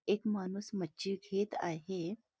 एक माणूस मच्छी घेत आहे.